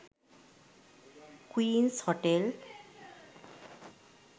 queens hotel